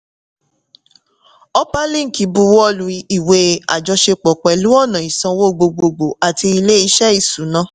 upperlink buwọ́lu ìwé àjọṣepọ̀ pẹ̀lú ọ̀nà ìsanwó gbogbogbòò àti ilé-iṣẹ́ ìsúná.